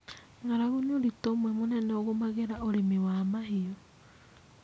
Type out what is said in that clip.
Ng'aragu nĩ ũritũ ũmwe mũnene ũgũmagĩra ũrĩmi wa mahiũ.